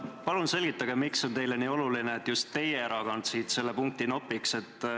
Palun selgitage, miks on teile nii oluline, et just teie erakond siit selle punkti nopiks.